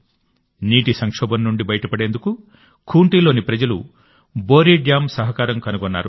నీటి సంక్షోభం నుండి బయటపడేందుకు ఖూంటిలోని ప్రజలు బోరి డ్యామ్ సహకారం కనుగొన్నారు